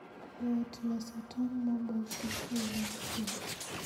Yot loso tong' moboki e yor chweko